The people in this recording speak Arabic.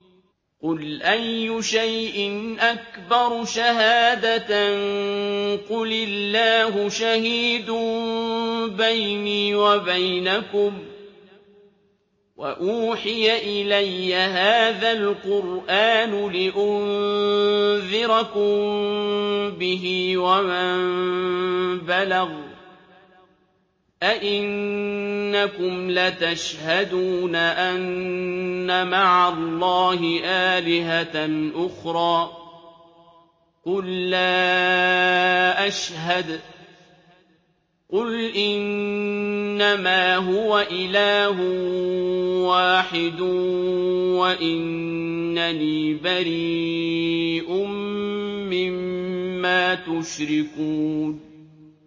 قُلْ أَيُّ شَيْءٍ أَكْبَرُ شَهَادَةً ۖ قُلِ اللَّهُ ۖ شَهِيدٌ بَيْنِي وَبَيْنَكُمْ ۚ وَأُوحِيَ إِلَيَّ هَٰذَا الْقُرْآنُ لِأُنذِرَكُم بِهِ وَمَن بَلَغَ ۚ أَئِنَّكُمْ لَتَشْهَدُونَ أَنَّ مَعَ اللَّهِ آلِهَةً أُخْرَىٰ ۚ قُل لَّا أَشْهَدُ ۚ قُلْ إِنَّمَا هُوَ إِلَٰهٌ وَاحِدٌ وَإِنَّنِي بَرِيءٌ مِّمَّا تُشْرِكُونَ